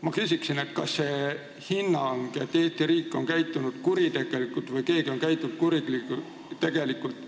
Ma küsingi, kas see hinnang, et Eesti riik on käitunud kuritegelikult või keegi on käitunud kuritegelikult,